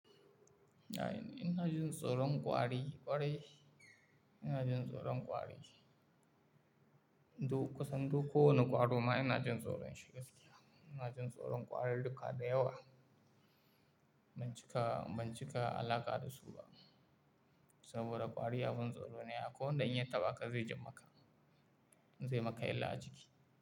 Ya une, ina jin tsoron ƙwari ƙwarai ina jin tsoron ƙwari. Duk ƙasan duk kowane ƙwaro ma ina jin tsoron shi gaskiya. Ina jin tsoron ƙwarar duka da yawa. Ban cika, ban cika alaƙa da su ba saboda ƙwari abin tsoro ne. Ko danda in ya taɓa ka zai jammaka, zai maka illa a jiki.